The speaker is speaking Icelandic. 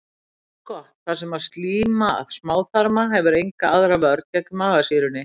Það er eins gott, þar sem slíma smáþarma hefur enga aðra vörn gegn magasýrunni.